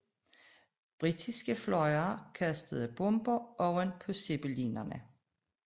Britiske fly kastede bomber ovenpå zeppelinerne